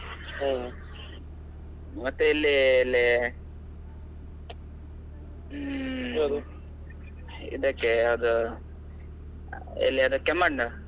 ಹ್ಮ್ ಮತ್ತೆ ಇಲ್ಲಿ ಇದಕ್ಕೆ ಯಾವ್ದು ಎಲ್ಲಿ ಅದು Kemmannu .